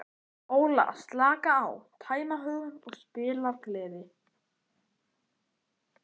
Óla, slaka á, tæma hugann og spila af gleði.